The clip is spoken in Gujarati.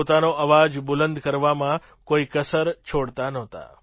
પોતાનો અવાજ બુલંદ કરવામાં કોઈ કસર છોડતા નહોતા